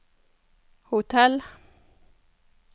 hotell